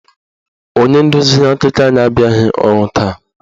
Onye ndozi akụkọ anyị abịaghị ọrụ taa